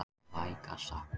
Vægast sagt.